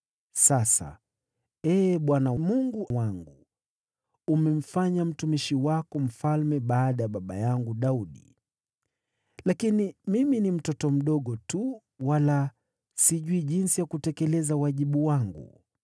“Sasa, Ee Bwana Mungu wangu, umemfanya mtumishi wako mfalme badala ya baba yangu Daudi. Lakini mimi ni mtoto mdogo tu, wala sijui jinsi ya kutekeleza wajibu wangu.